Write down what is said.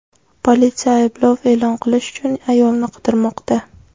Politsiya ayblov e’lon qilish uchun ayolni qidirmoqda.